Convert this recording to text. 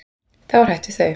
Þá er hætt við þau.